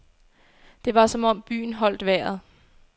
Det var som om byen holdt vejret.